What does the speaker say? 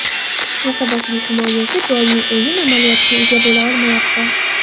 Shu sababli himoyachi doimiy o‘yin amaliyotiga ega bo‘la olmayapti.